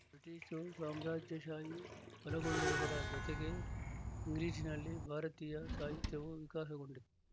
British ಸಾಮ್ರಾಜ್ಯಶಾಹಿ ಬಲಗೊಳ್ಳುವುದರ ಜೊತೆಗೇ ಇಂಗ್ಲಿಶಿನಲ್ಲಿ ಭಾರತೀಯ ಸಾಹಿತ್ಯವು ವಿಕಾಸಗೊಂಡಿತು